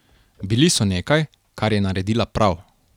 Bili so nekaj, kar je naredila prav.